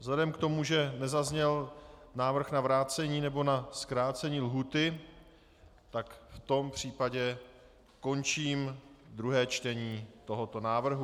Vzhledem k tomu, že nezazněl návrh na vrácení nebo na zkrácení lhůty, tak v tom případě končím druhé čtení tohoto návrhu.